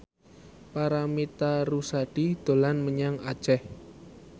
Paramitha Rusady dolan menyang Aceh